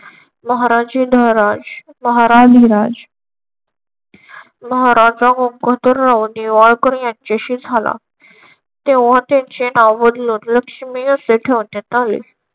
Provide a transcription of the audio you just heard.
महाराज धनराज महाराणी धनराज महाराज गंगाधरराव नेवाळकर यांच्याशी झाला. तेव्हा त्यांचे नाव बदलून लक्ष्मी असे ठेवण्यात आले.